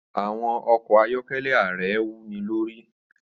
Àwọn ọkọ̀ ayọ́kẹ́lẹ́ ààrẹ wúni lórí.